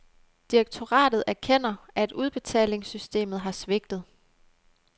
Direktoratet erkender, at udbetalingssystemet har svigtet.